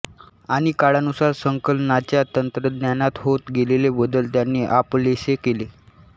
आणि काळानुसार संकलनाच्या तंत्रज्ञानात होत गेलेले बदल त्यांनी आपलेसे केले